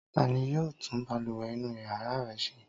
Ta ni yóò tún balùwẹ̀ inú ìyàrá rẹ ṣe?